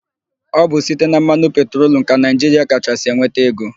Ọ bụ site na mmanụ petrolum ka Naịjiria kachasị enweta ego.